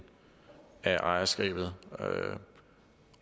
af ejerskabet